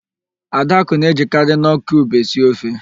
Adakụ na-ejikarị nọọ kiub esi ofe.